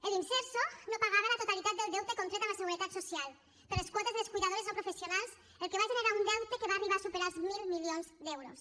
l’imserso no pagava la totalitat del deute contret amb la seguretat social per les quotes de les cuidadores no professionals el que va generar un deute que va arribar a superar els mil milions d’euros